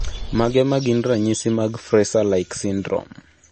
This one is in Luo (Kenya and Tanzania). Mage magin ranyisi mag Fraser like syndrome